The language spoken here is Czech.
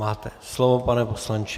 Máte slovo, pane poslanče.